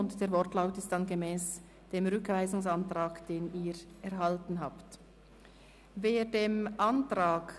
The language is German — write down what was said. [...]», wobei es sich um den Wortlaut gemäss des Rückweisungsantrags handelt, den Sie erhalten haben.